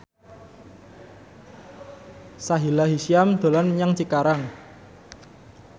Sahila Hisyam dolan menyang Cikarang